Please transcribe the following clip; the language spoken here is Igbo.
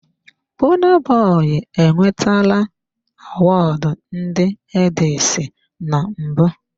Burna Boy enwetara Awọọdụ ndị headies na mbụ.